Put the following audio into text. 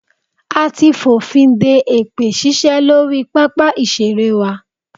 A ti fònfin de èpè ṣíṣe lórí pápá ìṣeré wa.